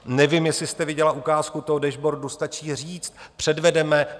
Nevím, jestli jste viděla ukázku toho dashboardu, stačí říct, předvedeme.